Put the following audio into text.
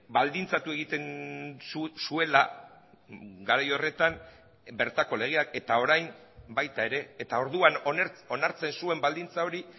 baldintzatu egiten zuela garai horretan bertako legeak eta orain baita ere eta orduan onartzen zuen baldintza hori